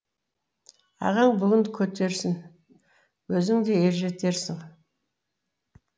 ағаң бүгін көтерсін өзің де ер жетерсің